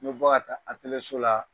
N bɛ bɔ ka taa so la